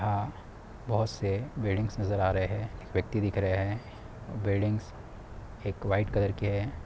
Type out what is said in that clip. यहा बहुत से वेडिंगस नजर आ रहे है| व्यक्ति दिख रहे है| वेडिंग्स एक व्हाइट कलर के है।